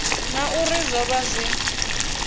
na uri zwo vha zwi